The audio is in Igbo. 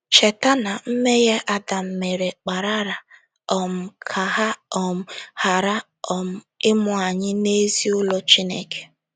Cheta na mmehie Adam mere kparara um ka a um ghara um ịmụ anyị n’ezinụlọ Chineke.